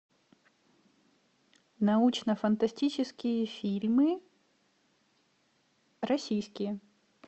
научно фантастические фильмы российские